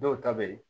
Dɔw ta bɛ ye